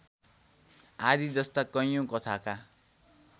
आदिजस्ता कैयौँ कथाका